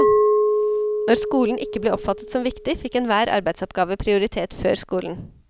Når skolen ikke ble oppfattet som viktig, fikk enhver arbeidsoppgave prioritet før skolen.